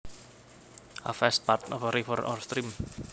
A fast part of a river or stream